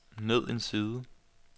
ned en side